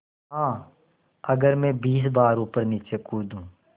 हाँ अगर मैं बीस बार ऊपरनीचे कूदूँ